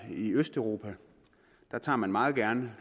i østeuropa der tager man meget gerne